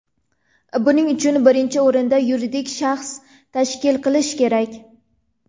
Buning uchun birinchi o‘rinda yuridik shaxs tashkil qilish kerak.